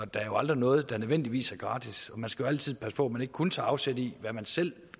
der er jo aldrig noget der nødvendigvis er gratis og man skal altid passe på at man ikke kun tager afsæt i hvad man selv